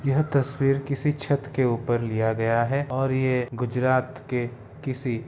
यह तस्वीर किसी छत के ऊपर लिया गया है और ये गुजरात के किसी --